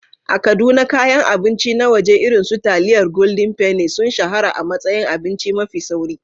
A Kaduna, kayan abinci na waje irin su taliyar Golden penny sun shahara a matsayin abinci mafi sauri.